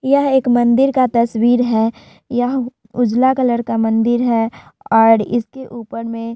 यह एक मंदिर का तस्वीर है। यह उजला कलर का मंदिर है और इसके ऊपर में --